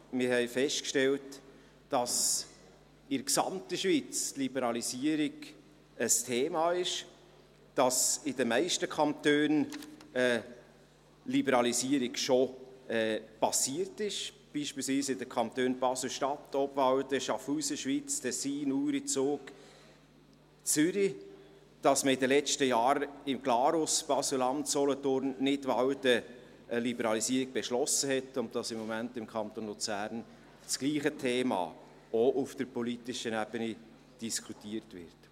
Wir stellten fest, dass die Liberalisierung in der ganzen Schweiz ein Thema ist, dass die Liberalisierung in den meisten Kantonen schon erfolgt ist, beispielswese in den Kantonen Basel-Stadt, Obwalden, Schaffhausen, Schwyz, Tessin, Uri, Zug und Zürich, dass man in den letzten Jahren in Glarus, Basel-Landschaft, Nidwalden eine Liberalisierung beschlossen hat und dass im Moment im Kanton Luzern dasselbe Thema auch auf politischer Ebene diskutiert wird.